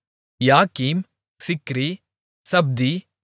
யாக்கிம் சிக்ரி சப்தி